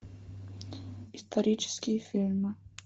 исторические фильмы